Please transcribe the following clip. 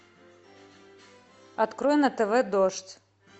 открой на тв дождь